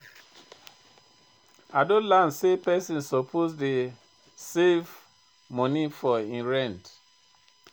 I don learn sey pesin suppose dey save moni for im rent.